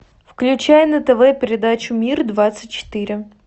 включай на тв передачу мир двадцать четыре